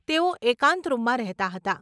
તેઓ એકાંત રૂમમાં રહેતાં હતાં.